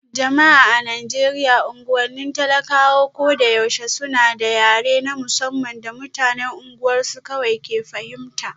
Jama'a a Najeriya unguwannin talak a ko da yaushe suna da yare na musamman da mutanen unguwarsu kawai ke fahimta